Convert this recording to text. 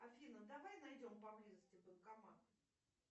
афина давай найдем поблизости банкомат